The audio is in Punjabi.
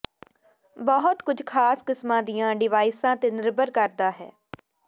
ਬਹੁਤ ਕੁਝ ਖਾਸ ਕਿਸਮਾਂ ਦੀਆਂ ਡਿਵਾਈਸਾਂ ਤੇ ਨਿਰਭਰ ਕਰਦਾ ਹੈ